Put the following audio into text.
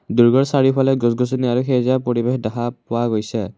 দুৰ্গৰ চাৰিওফালে গছ গছনি আৰু সেউজীয়া পৰিৱেশ দেখা পোৱা গৈছে।